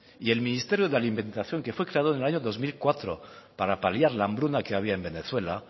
y el ministerio de alimentación que fue creado en el año dos mil cuatro para paliar la hambruna que había en venezuela